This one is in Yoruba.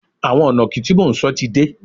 Àwọn ìnàkí tí mò ń sọ ti dé